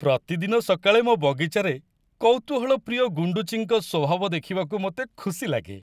ପ୍ରତିଦିନ ସକାଳେ ମୋ ବଗିଚାରେ କୌତୁହଳପ୍ରିୟ ଗୁଣ୍ଡୁଚିଙ୍କ ସ୍ୱଭାବ ଦେଖିବାକୁ ମୋତେ ଖୁସି ଲାଗେ।